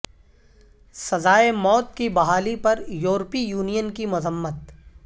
سزائے موت کی بحالی پر یورپی یونین کی مذمت